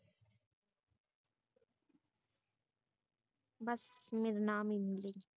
ਬਸ ਮੇਰਾ ਨਾਮ ਲੀ